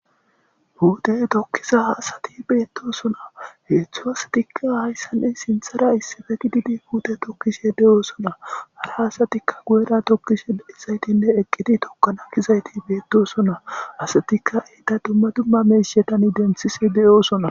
Puute tokiza asati beetoosona heedzdzu asatika sinththara issipe gididi puute tokishe de7oosona. Ha asatape guyera tokanaas gigigetishe dizaytika beetoosona .Asatika dumma dumma miishshata denththishe de7oosona.